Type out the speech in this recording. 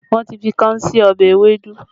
Wọn ti fi káún sí ọbẹ̀ ewédú